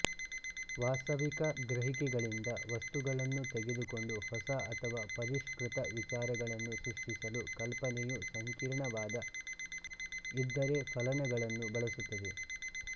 ವಾಸ್ತವಿಕ ಗ್ರಹಿಕೆಗಳಿಂದ ವಸ್ತುಗಳನ್ನು ತೆಗೆದುಕೊಂಡು ಹೊಸ ಅಥವಾ ಪರಿಷ್ಕೃತ ವಿಚಾರಗಳನ್ನು ಸೃಷ್ಟಿಸಲು ಕಲ್ಪನೆಯು ಸಂಕೀರ್ಣವಾದ ಇದ್ದರೆಫಲನಗಳನ್ನು ಬಳಸುತ್ತದೆ